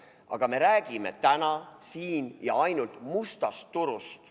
Aga me räägime täna siin ja ainult mustast turust.